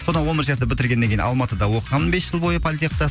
содан он бірінші класты біріргеннен кейін алматыда оқығанмын бес жыл бойы политехта